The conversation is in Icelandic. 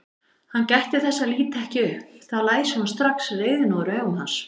Hann gætti þess að líta ekki upp, þá læsi hún strax reiðina úr augum hans.